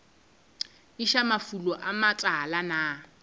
iša mafulong a matala na